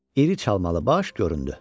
İri çalmalı baş göründü.